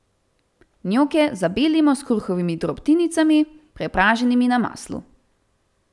Njoke zabelimo s kruhovimi drobtinicami, prepraženimi na maslu.